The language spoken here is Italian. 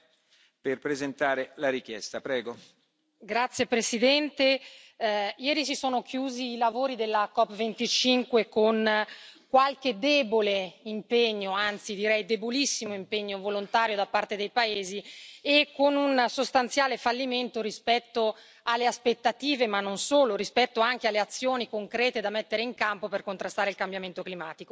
Signor Presidente, onorevoli colleghi, ieri si sono chiusi i lavori della COP25 con qualche debole impegno, anzi direi, debolissimo impegno volontario da parte dei paesi e con un sostanziale fallimento rispetto alle aspettative, ma non solo, rispetto anche alle azioni concrete da mettere in campo per contrastare il cambiamento climatico.